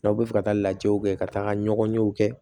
N'aw bɛ fɛ ka taa lajɛw kɛ ka taga ɲɔgɔn ɲɛw kɛ